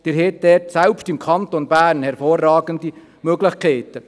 Sie haben also selbst im Kanton Bern hervorragende Möglichkeiten.